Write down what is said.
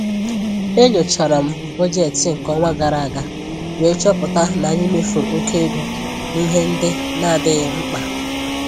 E nyochara m bọjetị nke ọnwa gara aga wee chọpụta n'anyị mefuru oke ego n'ihe ndị n'adịghị mkpa.